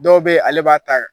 Dɔw bɛ ale b'a ta